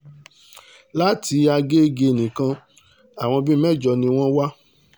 láti àgéègé nìkan àwọn bíi mẹ́jọ ni wọ́n wà